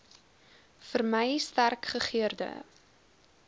vermy sterk gegeurde